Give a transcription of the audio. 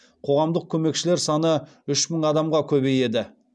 қоғамдық көмекшілер саны үш мың адамға көбейеді